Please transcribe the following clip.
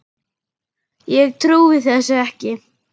Ég trúi þessu ekki!